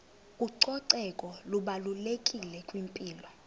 ucoceko lubalulekile kwimpilo